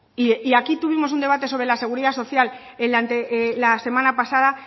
y aquí tuvimos un debate sobre la seguridad social la semana pasada